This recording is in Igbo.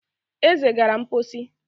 Eze gara mposi